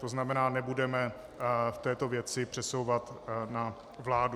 To znamená, nebudeme v této věci přesouvat na vládu.